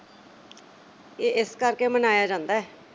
ਅਹ ਇਸ ਕਰਕੇ ਮਨਾਇਆ ਜਾਂਦਾ।